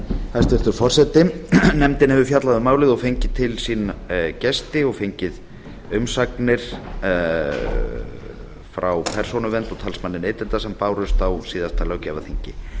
hæstvirtur forseti nefndin hefur fjallað um málið fengið til sín gesti og fengið umsagnir frá persónuvernd og talsmanni neytenda sem bárust á síðasta löggjafarþingi